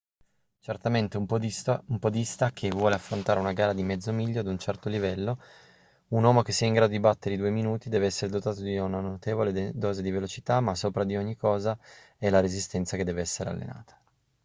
certamente un podista che vuole affrontare una gara di mezzo miglio ad un certo livello un uomo che sia in grado di battere i due minuti deve essere dotato di una notevole dose di velocità ma sopra ogni cosa è la resistenza che deve essere allenata